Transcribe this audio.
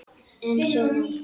Eins og nú.